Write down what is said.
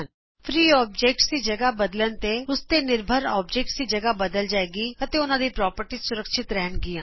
ਮੁਫਤ ਅਕਾਰ ਦੀ ਥਾ ਬਦਲਣ ਤੇ ਉਸ ਤੇ ਨਿਰਭਰ ਸਾਰੇ ਅਕਾਰਾਂ ਦੀ ਥਾਂ ਬਦਲ ਜਾਏਗੀ ਅਤੇ ਉਹਨਾਂ ਦੀ ਪ੍ਰੋਪਰਟੀਜ਼ ਸੁਰੱਖਿਅਤ ਰਹਿਣ ਗੀਆਂ